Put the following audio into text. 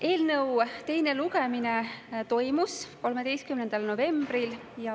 Eelnõu teine lugemine toimus 13. novembril.